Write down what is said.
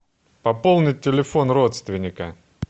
пополнить телефон родственника